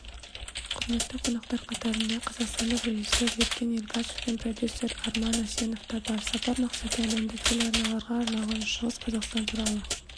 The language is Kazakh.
құрметті қонақтар қатарында қазақстандық режиссер еркен елгашев пен продюсер арман асенов та бар сапар мақсаты әлемдік телеарналарға арналған шығыс қазақстан туралы